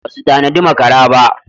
Basu tanadi makara ba.